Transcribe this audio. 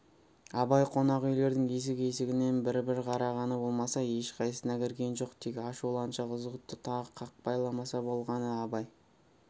абай қонақүйлердің есік-есігінен бір-бір қарағаны болмаса ешқайсысына кірген жоқ тек ашуланшақ ызғұтты тағы қақпайламаса болғаны абай